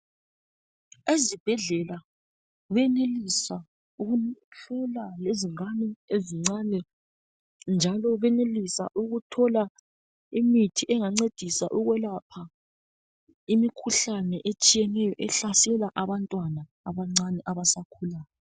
Ezibhedlela benelisa ukuhlola lezingane ezincane njalo benelisa ukuthola imithi engancedisa ukukwelapha imkhuhlane etshiyeneyo ehlasela abantwana abancane abasakhulayo